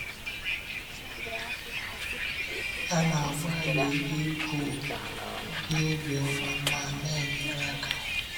Ha na-agbalị ịbụ ndị obiọma ma na-enyere aka.